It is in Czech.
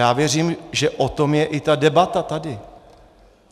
Já věřím, že o tom je i ta debata tady.